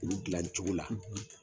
Olu dilan cogo la.